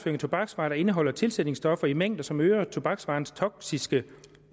tobaksvarer der indeholder tilsætningsstoffer i mængder som øger tobaksvarens toksiske